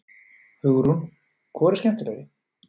Hugrún: Hvor eru skemmtilegri?